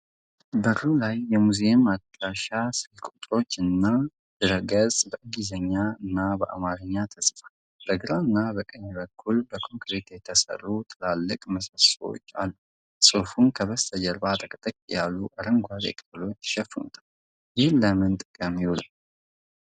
በሩ ላይ የሙዚየም አድራሻ፣ ስልክ ቁጥሮችና ድረ-ገጽ በእንግሊዝኛና በአማርኛ ተጽፏል። በግራና በቀኝ በኩል በኮንክሪት የተሠሩ ትላልቅ ምሰሶዎች አሉ። ጽሑፉን ከበስተጀርባ ጥቅጥቅ ያሉ አረንጓዴ ቅጠሎች ይሸፍኑታል? ይህ ለምን ጥቅምን ይውላል?